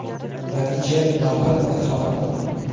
Natija, albatta, xafa qildi.